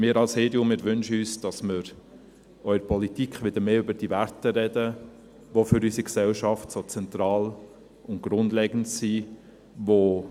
Wir von der EDU wünschen uns, dass wir auch in der Politik wieder mehr über diese Werte sprechen, die für unsere Gesellschaft so zentral und grundlegend sind.